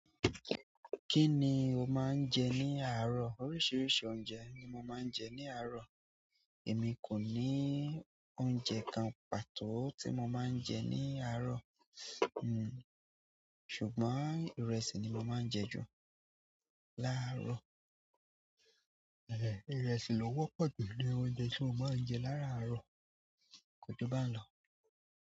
Kí ni o máa ń jẹ ní àárọ̀? Oríṣiríṣi oúnjẹ ni mo máa ń jẹ ní àárọ̀, èmi kò ní oúnjẹ kan pàtó tí mo máa ń jẹ ní àárọ̀, hm ṣùgbọ́n ìrẹsì ni mo máa ń jẹ ju làárọ̀. Ẹ̀, ìrẹsì lọ wọ́pọ̀ jù nínú oúnjẹ tí mo máa ń jẹ lárárọ̀, kò ju bá ń lọ.